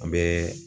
An bɛ